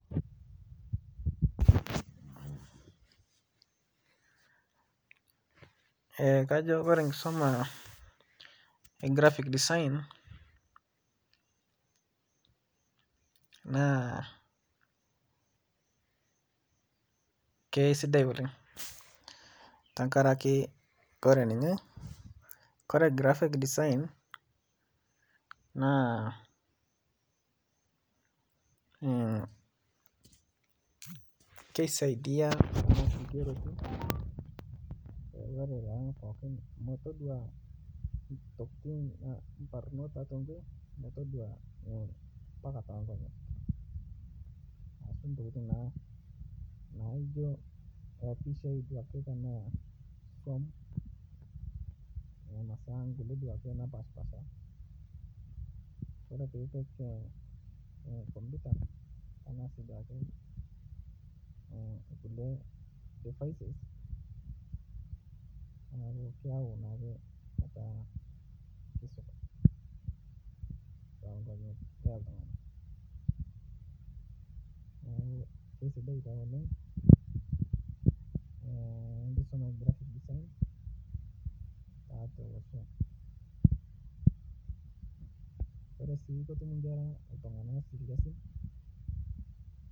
Ee kajo ore enkisuma e graphic design na kesidai olenh tenkaraki ore ninye na kisaidia tonkulie tokitin neaku ore pokki nataduo mbaka tonkera ashu ntokitin naijo tepisha ake etaduaki napashipasha kulie difaises na keaku etaa kesidan neaku kesidai taa oleng enkisuma e graphic design tiatua olosho